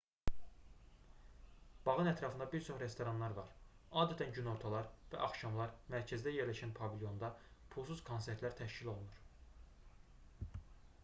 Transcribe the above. bağın ətrafında bir çox restoranlar var adətən günortalar və axşamlar mərkəzdə yerləşən pavilyonda pulsuz konsertlər təşkil olunur